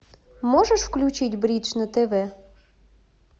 можешь включить бридж на тв